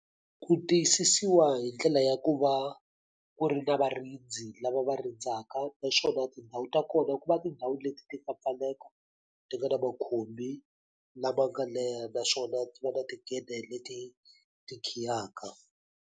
Ku tiyisisiwa hi ndlela ya ku va ku ri na varindzi lava va rindzaka. Naswona tindhawu ta kona ku va tindhawu leti ti nga pfaleka, ti nga na makhumbi lama nga leha. Naswona ti va na tigede leti ti khiyaka.